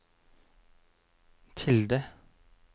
tilde